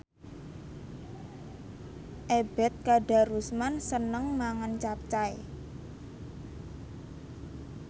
Ebet Kadarusman seneng mangan capcay